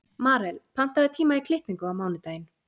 Marel, pantaðu tíma í klippingu á mánudaginn.